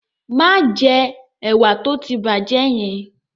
Má jẹ ẹ̀wà tó ti bàjẹ́ yẹn!